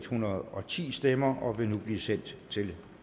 hundrede og ti stemmer og vil nu blive sendt til